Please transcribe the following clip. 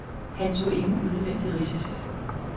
Han tog ingen unødvendige risici.